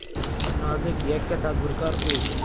Chinozlik yakka tadbirkor U.